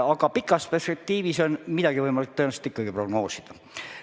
Aga pikas perspektiivis on midagi võimalik tõenäoliselt ikkagi prognoosida.